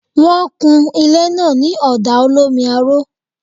Wọ́n kun ilé náà ní ọ̀dà olómi aró